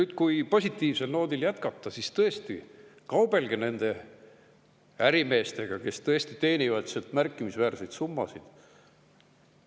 Ja kui positiivsel noodil jätkata, siis jah, kaubelge nende ärimeestega, kes tõesti teenivad märkimisväärseid summasid.